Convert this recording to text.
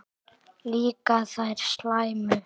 Líka þær slæmu.